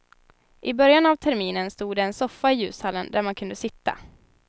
I början av terminen stod det en soffa i ljushallen där man kunde sitta.